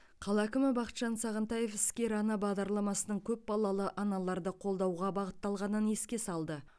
қала әкімі бақытжан сағынтаев іскер ана бағдарламасының көпбалалы аналарды қолдауға бағытталғанын еске салды